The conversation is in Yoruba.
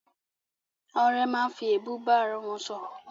Àwọn ọ̀rẹ́ máa ń fi èébú bá arawọn sọ̀rọ̀